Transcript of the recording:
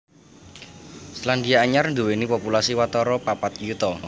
Selandia Anyar nduwèni populasi watara papat yuta